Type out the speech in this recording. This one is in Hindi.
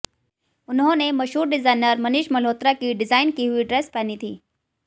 उन्होंने मशहूर डिजाइनर मनीष मल्होत्रा की डिजाइन की हुई ड्रेस पहनी थी